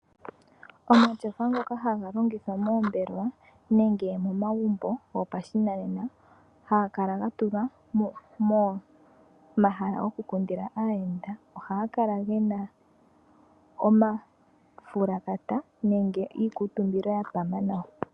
Omatyofa ngoka haga longithwa moombelewa nenge momagumbo go pashinanena, haga kala ga tulwa pomahala go ku kundilwa aayenda, ohaga kala gena omafulakata nenge iikuutumbilo ya pama nawa.